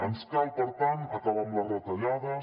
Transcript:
ens cal per tant acabar amb les retallades